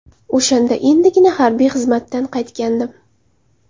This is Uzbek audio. O‘shanda endigina harbiy xizmatdan qaytgandim.